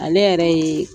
Ale yɛrɛ ye